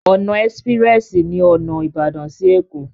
Ọ̀nà ẹ́sprẹ́sì ní ọ̀nà Ìbàdàn sí Ẹ̀kó.